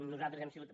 nosaltres hem sigut